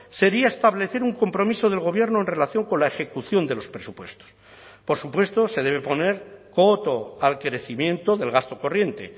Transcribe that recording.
sería establecer un compromiso del gobierno en relación con la ejecución de los presupuestos por supuesto se debe poner coto al crecimiento del gasto corriente